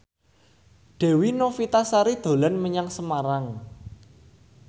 Dewi Novitasari dolan menyang Semarang